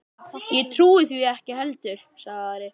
Ég trúi því ekki heldur, sagði Ari.